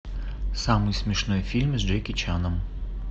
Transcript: самый смешной фильм с джеки чаном